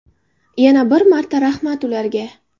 Yana bir marta rahmat ularga!